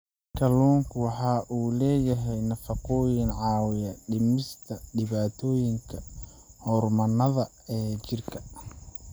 Kalluunku waxa uu leeyahay nafaqooyin caawiya dhimista dhibaatooyinka hormoonnada ee jidhka.